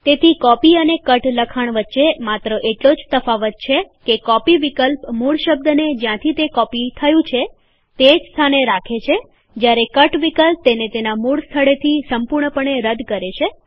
તેથી કોપી અને કટ લખાણ વચ્ચે માત્ર એટલો જ તફાવત છે કે કોપી વિકલ્પ મૂળ શબ્દને જ્યાંથી તે કોપી થયું હોય તે સ્થાને જ રાખે છે જ્યારે કટ વિકલ્પ તેને તેના મૂળ સ્થળેથી સંપૂર્ણપણે રદ કરે છે